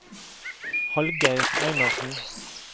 Hallgeir Einarsen